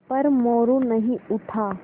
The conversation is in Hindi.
पर मोरू नहीं उठा